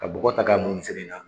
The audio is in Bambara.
Ka bɔgɔ ta k'a mun misiri in na.